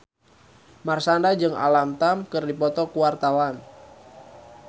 Marshanda jeung Alam Tam keur dipoto ku wartawan